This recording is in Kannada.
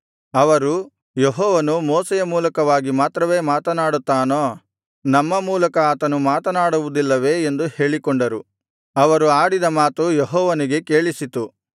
ಅವರು ಯೆಹೋವನು ಮೋಶೆಯ ಮೂಲಕವಾಗಿ ಮಾತ್ರವೇ ಮಾತನಾಡುತ್ತಾನೋ ನಮ್ಮ ಮೂಲಕ ಆತನು ಮಾತನಾಡುವುದಿಲ್ಲವೇ ಎಂದು ಹೇಳಿಕೊಂಡರು ಅವರು ಆಡಿದ ಮಾತು ಯೆಹೋವನಿಗೆ ಕೇಳಿಸಿತು